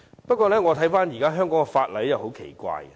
不過，我翻閱現時香港的法例後，覺得很奇怪。